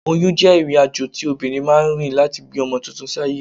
Oyún jẹ́ ìrìnàjò tí obìnrin máa ń rìn láti bí ọmọ tuntun sáyé